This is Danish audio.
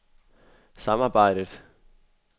samarbejdet